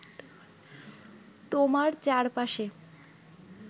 তোমার চারপাশে